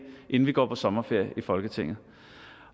inden vi går på sommerferie i folketinget